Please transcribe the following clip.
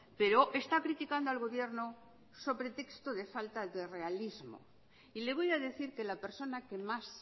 pero está criticando al gobierno sobre texto de falta de realismo y le voy a decir que la persona que más